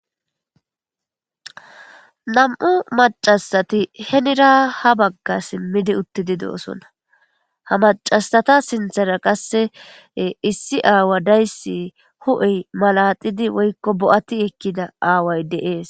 nam'u macasati henira ha bagga simmidi uttidi doosona ha macasata sinthara qasse issi aawa dayssi hu'ey malaxidi woykko bo'ati ekkida aaway de'ees